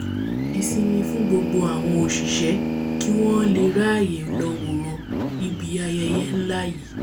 ìsimin fún gbogbo àwọn òṣìṣẹ́ kí wọ́n ó le r’áàyè lọ wòran níbi ayẹyẹ nlá yìí